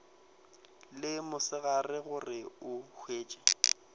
le mosegare gore o hwetše